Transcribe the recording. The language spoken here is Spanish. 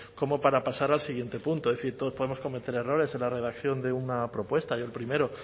como para pasar al siguiente punto es decir todos podemos cometer errores en la redacción de una propuesta y el primero